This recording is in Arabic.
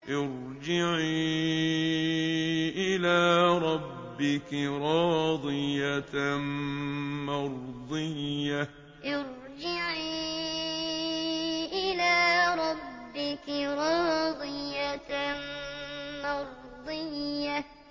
ارْجِعِي إِلَىٰ رَبِّكِ رَاضِيَةً مَّرْضِيَّةً ارْجِعِي إِلَىٰ رَبِّكِ رَاضِيَةً مَّرْضِيَّةً